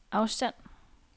afstand